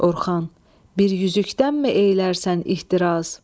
Orxan, bir üzükdənmi eylərsən ixtiraz?